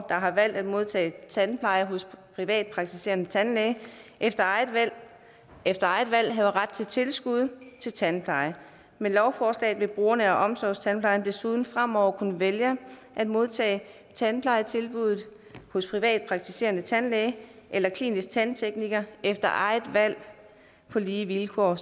har valgt at modtage tandpleje hos privatpraktiserende tandlæge efter efter eget valg have ret til tilskud til tandpleje med lovforslaget vil brugerne af omsorgstandplejen desuden fremover kunne vælge at modtage tandplejetilbuddet hos privatpraktiserende tandlæge eller klinisk tandtekniker efter eget valg på lige vilkår